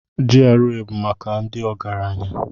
GRA bụ maka ndị ọgaranya.